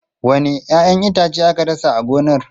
Wanne 'ya'yan itace aka dasa a gonar?